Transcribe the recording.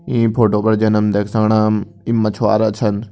ई photo पर जन हम देख सकणम ई मछवारा छन।